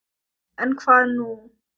En, hvað nú?